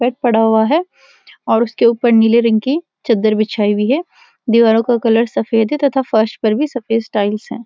और पड़ा हुआ है और उसके ऊपर नीले रंग की चद्दर बिछाई हुई है दीवारों का कलर सफेद है तथा फर्स पर भी सफेद टीईलस हैं।